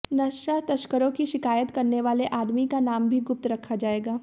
नशा तस्करों की शिकायत करने वाले आदमी का नाम भी गुप्त रखा जाएगा